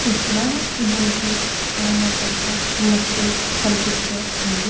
ఇక్కడా మనకి చాలా పెద్ద మసీదు కనిపిస్తూ ఉంది.